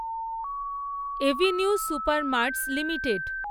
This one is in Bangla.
Avenue supermarts limited